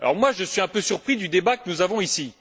Je suis un peu surpris du débat que nous avons ici.